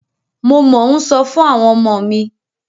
Mo mọ́ ń sọ fún àwọn ọmọ mi.